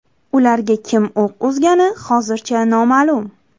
Ularga kim o‘q uzgani hozircha noma’lum.